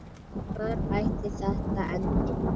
Hvar ætli þetta endi?